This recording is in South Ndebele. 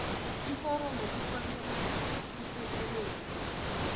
iforomo kufanele liphekelelwe